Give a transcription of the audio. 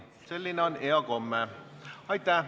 Selline on hea komme.